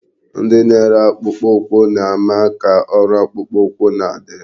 Ndị na-ere akpụkpọ ụkwụ na-ama ka ọrụ akpụkpọ ụkwụ na-adị.